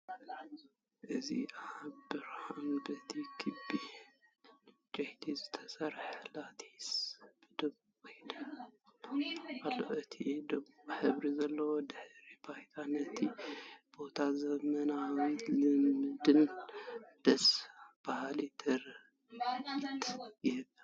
እዚ እቲ ብርሃን በቲ ክቢ ዕንጨይቲ ዝተሰርሐ ላቲስ ብድሙቕ ይደምቕ ኣሎ። እቲ ድሙቕ ሕብሪ ዘለዎ ድሕረ ባይታ ነቲ ቦታ ዘመናዊነትን ልምድን ደስ ባሃሊ ትርኢት ይህቦ።